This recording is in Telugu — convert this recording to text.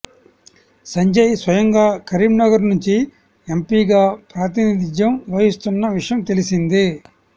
సంజయ్ స్వయంగా కరీంనగర్ నుంచి ఎంపీగా ప్రాతినిధ్యం వహిస్తున్న విషయం తెలిసిందే